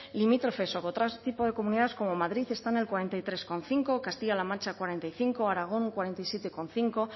limítrofes u otro tipo de comunidades como madrid está en el cuarenta y tres coma cinco castilla la mancha cuarenta y cinco aragón berrogeita zazpi koma bost bueno